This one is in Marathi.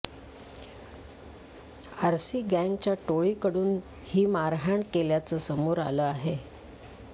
आर सी गँगच्या टोळीकडून ही मारहाण केल्याचं समोर आलं आहे